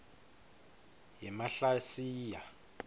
yemahlasiya